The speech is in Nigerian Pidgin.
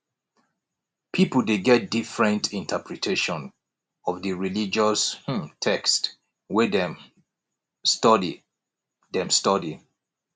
pipo de get different interpretation of di religious um text wey dem study dem study